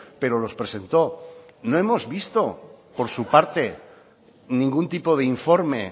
pero los presentó no hemos visto por su parte ningún tipo de informe